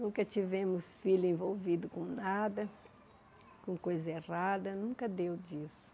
Nunca tivemos filho envolvido com nada, com coisa errada, nunca deu disso.